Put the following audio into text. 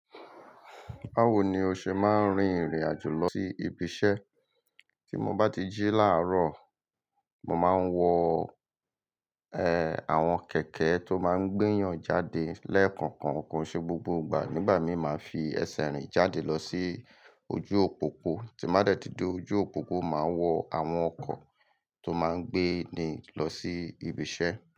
Báwo ni o ṣe máa ń rin ìrìn àjò lọ sí ibi iṣẹ́? Tí mo bá ti jí láàárọ̀, mo máa ń wọ, ẹ́, àwọn kẹ̀kẹ́ tó máa ń gbeyàn jáde lẹ́ẹ̀kọ̀kan. Kò ṣe gbogbo ìgbà. Nígbà míì, màá fi ẹsẹ̀ rìn jáde lọ sí ojú òpópó. Tí mo dẹ̀ tí dé ojú òpópó, màá wọ àwọn ọkọ̀ tó máa ń gbé ni lọ sí ibi iṣẹ́.